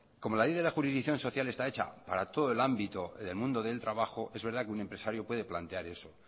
como la ley de jurisdicción social está hecha para todo el ámbito del mundo del trabajo es verdad que un empresario puede plantear eso